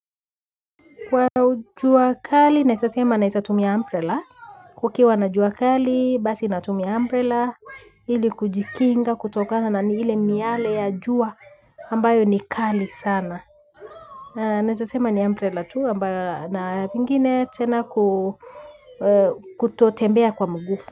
Kwa jua kali, naeza sema naeza tumia umbrella. Kukiwa na juakali, basi natumia umbrella ili kujikinga, kutokana na ile miale ya jua ambayo ni kali sana. Naeza sema ni umbrella tu ambayo na pengine tena kutotembea kwa mguu.